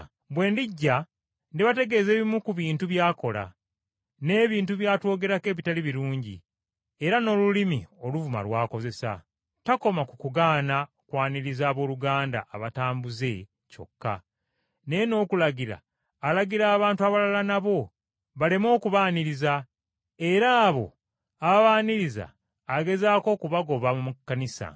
Bwe ndijja ndibategeeza ebimu ku bintu by’akola, n’ebintu by’atwogerako ebitali birungi, era n’olulimi oluvuma lw’akozesa. Takoma ku kugaana kwaniriza abooluganda abatambuze kyokka, naye n’okulagira alagira abantu abalala nabo, baleme okubaaniriza era abo ababaaniriza agezaako okubagoba mu Kkanisa.